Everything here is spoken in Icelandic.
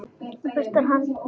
Þá bugast hann.